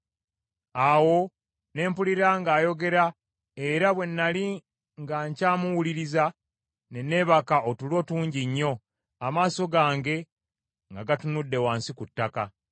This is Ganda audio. Awo ne mpulira ng’ayogera, era bwe nnali nga nkyamuwuliriza, ne neebaka otulo tungi nnyo, amaaso gange nga gatunudde wansi ku ttaka.